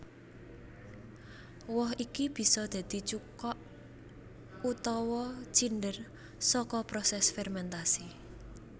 Woh iki bisa dadi cuka utawa cinder saka prosés fermentasi